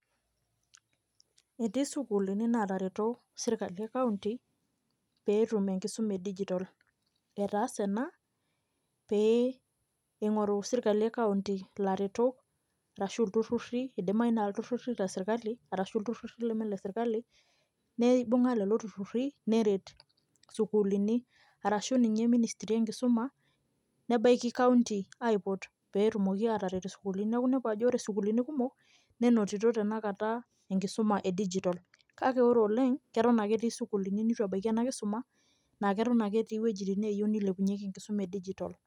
Etii isukuulini naatareto serkali ekaunti, pee etum enkisuma e digital. Etaase ena pee eingoru sirkali ekaunti ilaretok arashu aa iltururi, idimayu naa iltururi le sirkali arashu iltururi leme lesirkali, neibunga lelo turruri, neret sukuulini arashu ninye ministri enkisuma, nebaiki kaunti aipot pee etumoki aataret isukuulini. Neeku iniapu ajo wore sukuulini kumok, nenotito tenakata enkisuma e digital. Kake wore oleng', neton ake etii sukuulini nitu ebaiki ena kisuma, naa keton ake etii iwejitin neeyieu nilepunyekie enkisuma enye digital.